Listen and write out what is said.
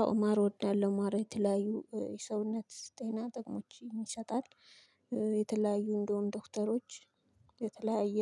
አዎ እማር እወዳለሁ። ማር የተለያዩ የሰውነት ጤና ጥቅሞችን ይሰጣል። የተለያዩ እንደውም ዶክተሮች የተለያየ